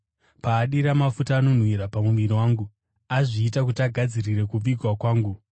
Paadira mafuta anonhuhwira pamuviri wangu, azviita kuti agadzirire kuvigwa kwangu.